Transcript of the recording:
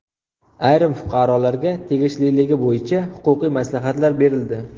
Ayrim fuqarolarga tegishliligi bo‘yicha huquqiy maslahatlar berildi.